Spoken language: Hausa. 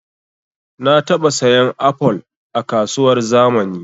Na taɓa sayan apol a kasuwar zamani